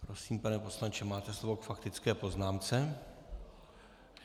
Prosím, pane poslanče, máte slovo k faktické poznámce.